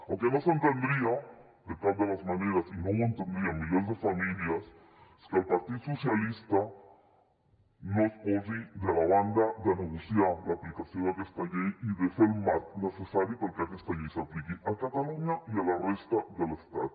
el que no s’entendria de cap de les maneres i no ho entendrien milers de famílies és que el partit dels socialistes no es posi de la banda de negociar l’aplicació d’aquesta llei i de fer el marc necessari perquè aquesta llei s’apliqui a catalunya i a la resta de l’estat